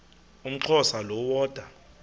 umxhosa lo woda